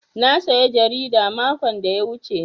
Na saya jarida makon da ya wuce.